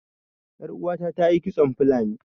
Ƴar uwata ta yi kitson fulani